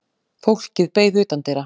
Fólkið beið utandyra.